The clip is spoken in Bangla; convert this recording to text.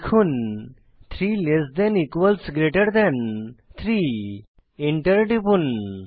লিখুন 3 লেস থান ইকুয়ালস গ্রেটের থান 3 এন্টার টিপুন